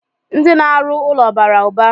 Ndị na-arụ ụlọ bara ụba.